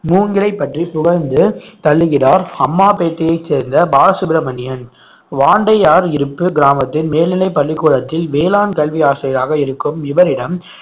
மூங்கிலை பற்றி புகழ்ந்து தள்ளுகிறார் அம்மாபேட்டையை சேர்ந்த பாலசுப்பிரமணியன் வாண்டையார் இருப்பு கிராமத்தின் மேல்நிலை பள்ளிக்கூடத்தில் வேளாண் கல்வி ஆசிரியராக இருக்கும் இவரிடம்